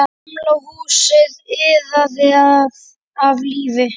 Gamla húsið iðaði af lífi.